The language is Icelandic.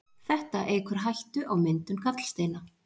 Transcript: Þetta eykur hættu á myndun gallsteina.